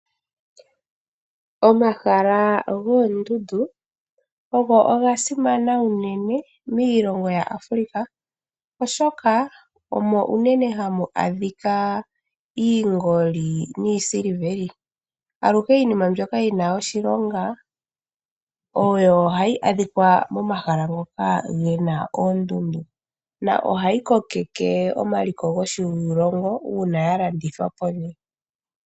Omahala goondundu ogo oga simana uunene miilongo yaAfrica, oshoka omo uunene hamu adhika iingoli niisiliveli. Aluhe iinima mbyoka yi na oshilonga oyo oha yi adhika momahala ngoka ge na oondundu, na ohayi kokeke omaliko goshilongo uuna ya landithwa po.